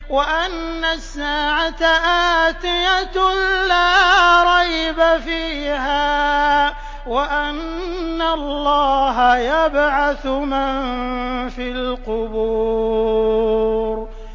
وَأَنَّ السَّاعَةَ آتِيَةٌ لَّا رَيْبَ فِيهَا وَأَنَّ اللَّهَ يَبْعَثُ مَن فِي الْقُبُورِ